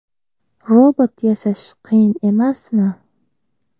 Robot yasash qiyin emasmi?